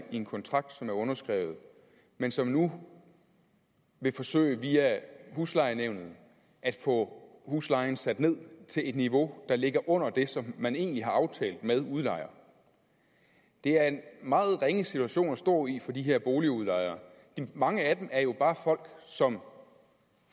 i en kontrakt som er underskrevet men som nu vil forsøge via huslejenævnet at få huslejen sat ned til et niveau der ligger under det som man egentlig har aftalt med udlejer det er en meget ringe situation at stå i for de her boligudlejere mange af dem er jo bare folk som